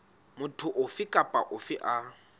motho ofe kapa ofe a